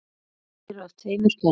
Þær eru af tveimur gerðum.